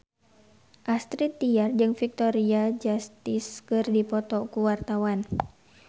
Astrid Tiar jeung Victoria Justice keur dipoto ku wartawan